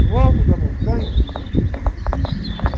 No alto da montanha, nada.